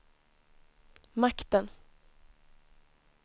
makten